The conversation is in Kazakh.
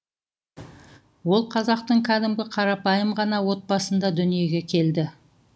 ол қазақтың кәдімгі қарапайым ғана отбасында дүниеге келді